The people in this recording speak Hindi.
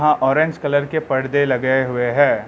ऑरेंज कलर के परदे लगे हुए हैं।